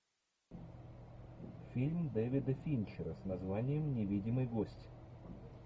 фильм дэвида финчера с названием невидимый гость